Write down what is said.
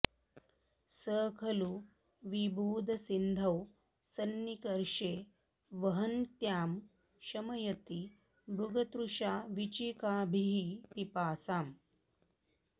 स खलु विबुधसिन्धौ सन्निकर्षे वहन्त्यां शमयति मृगतृष्णावीचिकाभिः पिपासाम्